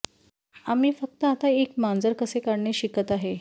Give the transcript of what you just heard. आम्ही फक्त आता एक मांजर कसे काढणे शिकत आहेत